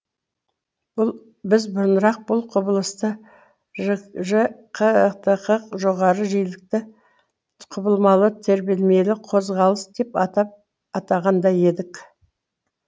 біз бұрынырақ бұл құбылысты жж қтқ жоғарғы жиілікті құбылмалы тербелмелі қозқалыс деп атаған да едік